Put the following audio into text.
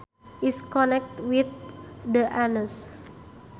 is connected with the anus